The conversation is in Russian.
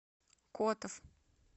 котов